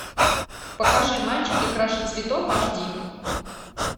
покажи мальчики краше цветов аш ди